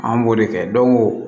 An b'o de kɛ don ko